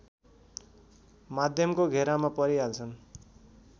माध्यमको घेरामा परिहाल्छन्